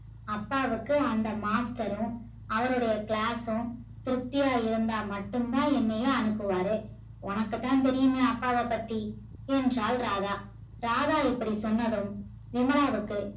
அப்பாவுக்கு அந்த master ரு அவருடைய class ம் திருப்தியா இருந்தா மட்டும்தா என்னைய அனுப்புவாரு உனக்குதா தெரயுமே அப்பாவ பத்தி என்றால் ராதா ராதா இப்படி சொன்னதும் விமலாவுக்கு